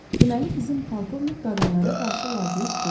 deməli bizim polkovnik qadınlara qarşı laqeyd deyil.